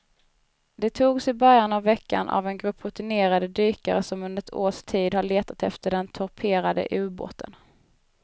De togs i början av veckan av en grupp rutinerade dykare som under ett års tid har letat efter den torpederade ubåten.